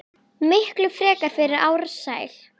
Miklu frekar fyrir Ársæl.